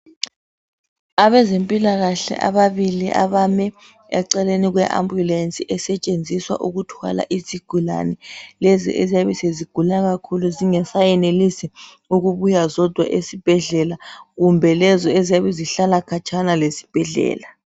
Abezempilakahle ababili abame eceleni kwe ambulensi esetshenziswa ukuthwala izigulani, lezi eziyabe sezigula kakhulu zingasayenelisi ukubuya zodwa esibhedlela kumbe lezo eziyabe zihlala khatshana lesibhedlela.